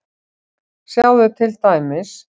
Sjáðu til dæmis